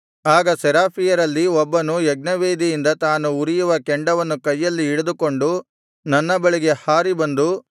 ಆಗ ಸೆರಾಫಿಯರಲ್ಲಿ ಒಬ್ಬನು ಯಜ್ಞವೇದಿಯಿಂದ ತಾನು ಉರಿಯುವ ಕೆಂಡವನ್ನು ಕೈಯಲ್ಲಿ ಹಿಡಿದುಕೊಂಡು ನನ್ನ ಬಳಿಗೆ ಹಾರಿ ಬಂದು